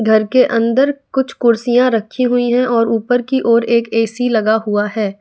घर के अंदर कुछ कुर्सियां रखी हुई हैं और ऊपर की ओर एक ए_सी लगा हुआ है।